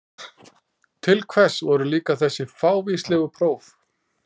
Til hvers voru líka þessi fávíslegu próf?